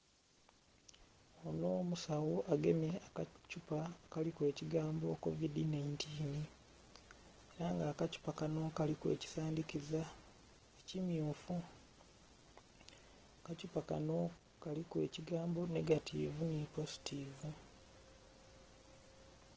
Onho musagho agemye akathupa akaliku ekigambo "covidi 19" era nga akathupa kano kaliku ekisandhikiza kimmyufu akathupa kano kaliku ekigambo nhegativu nhi positivu.